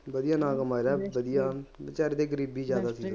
ਵਧੀਆ ਮਾਰਿਆ ਵਧੀਆ ਬੇਚਾਰੇ ਤੇ ਗਰੀਬੀ ਜ਼ਿਆਦਾ ਸੀ